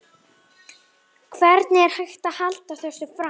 Hvernig er hægt að halda þessu fram?